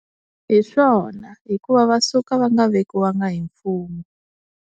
Hi swona hikuva va suka va nga vekiwanga hi mfumo.